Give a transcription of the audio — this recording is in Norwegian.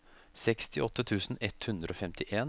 sekstiåtte tusen ett hundre og femtien